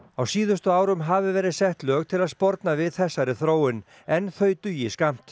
á síðustu árum hafi verið sett lög til að sporna við þessari þróun en þau dugi skammt